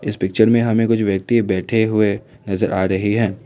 इस पिक्चर में हमें कुछ व्यक्ति बैठे हुए नजर आ रहे है।